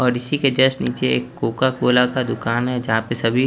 और इसी के जस्ट नीचे एक कोकाकोला का दुकान हैं जहाँ पे सभी--